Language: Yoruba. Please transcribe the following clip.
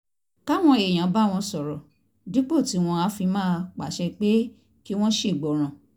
káwọn èèyàn bá wọn sọ̀rọ̀ dípò tí wọ́n á fi máa pàṣẹ pé kí wọ́n ṣègbọràn